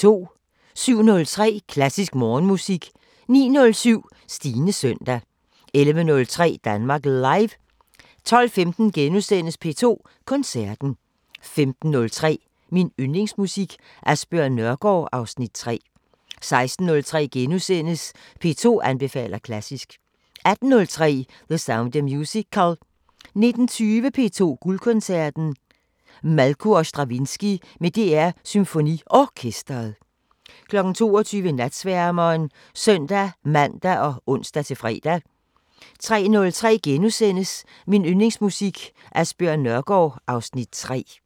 07:03: Klassisk Morgenmusik 09:07: Stines søndag 11:03: Danmark Live 12:15: P2 Koncerten * 15:03: Min Yndlingsmusik: Asbjørn Nørgaard (Afs. 3) 16:03: P2 anbefaler klassisk * 18:03: The Sound of Musical 19:20: P2 Guldkoncerten: Malko og Stravinskij med DR SymfoniOrkestret 22:00: Natsværmeren (søn-man og ons-fre) 03:03: Min Yndlingsmusik: Asbjørn Nørgaard (Afs. 3)*